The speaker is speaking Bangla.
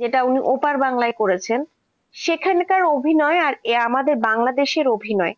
যেটা উনি ওপার বাংলায় করেছেন, সেখানকার অভিনয় আর আমাদের বাংলাদেশের অভিনয়,